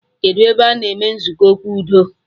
Kedụ ebe a na-eme nzukọ okwu udo